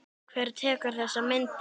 Hver tekur þessar myndir?